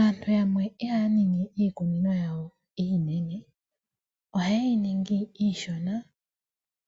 Aantu yamwe ihaya ningi iikunino yawo iinene, ohayeyi ningi iishona